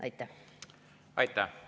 Aitäh!